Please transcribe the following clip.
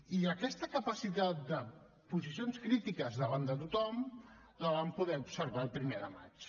i aquesta capacitat de posicions crítiques davant de tothom la vam poder observar el primer de maig